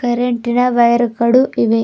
Red ರ wire ಗಳು ಇವೆ.